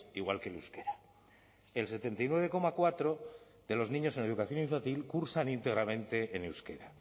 igual que el euskera el setenta y nueve coma cuatro de los niños en educación infantil cursan íntegramente en euskera